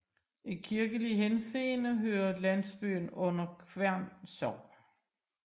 I kirkelig henseende hører landsbyen under Kværn Sogn